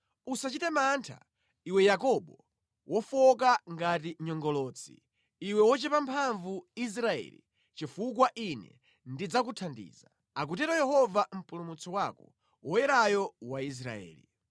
Usachite mantha, iwe Yakobo wofowoka ngati nyongolotsi, iwe wochepa mphamvu Israeli, chifukwa Ine ndidzakuthandiza,” akutero Yehova Mpulumutsi wako, Woyerayo wa Israeli.